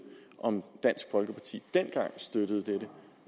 om dansk folkeparti dengang støttede det